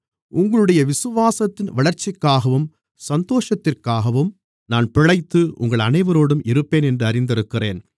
உங்களுடைய விசுவாசத்தின் வளர்ச்சிக்காகவும் சந்தோஷத்திற்காகவும் நான் பிழைத்து உங்கள் அனைவரோடும் இருப்பேன் என்று அறிந்திருக்கிறேன்